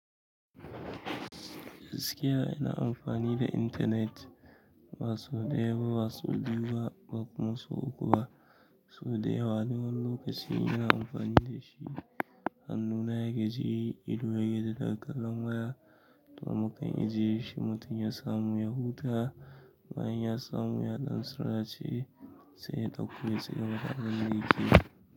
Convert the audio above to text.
Gaski ya ina amfani da intanet, basau ɗaya ba basau biyu ba, ba kuma sau uku ba. Sau dayawa wani wani lokaci ina na amfani da shi ne. Hannuna yaga ji, ido yayini yana kallon waya. To mukan ijye shi mutum ya samu ya huta bayan ya samu ya dan sura ce, sai ya ɗauko ya cigaba da abinda yakeyi.